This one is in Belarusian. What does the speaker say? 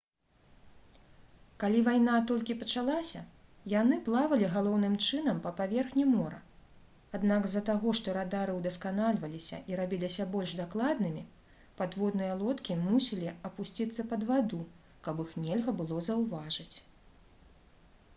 калі вайна толькі пачалася яны плавалі галоўным чынам па паверхні мора аднак з-за таго што радары ўдасканальваліся і рабіліся больш дакладнымі падводныя лодкі мусілі апусціцца пад ваду каб іх нельга было заўважыць